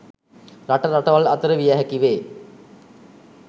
රට රටවල් අතර විය හැකිවේ.